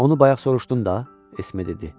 Onu bayaq soruşdun da, Esme dedi.